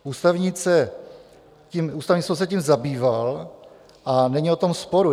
Ústavní soud se tím zabýval a není o tom sporu.